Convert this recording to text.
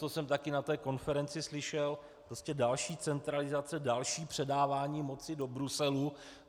Co jsem také na té konferenci slyšel, prostě další centralizace, další předávání moci do Bruselu.